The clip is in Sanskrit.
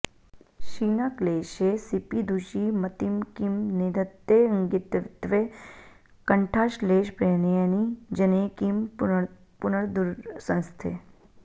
क्षीणाक्लेशे सिपिधुषि मतिं किं निधत्तेऽङ्गितत्वे कण्ठाश्लेषप्रणयिनि जने किं पुनर्दूरसंस्थे